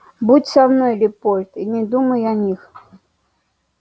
будь со мной лепольд и не думай о них